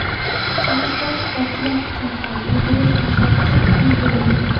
Havaskor sportchilar uchun ham yugurish masofasi belgilangan.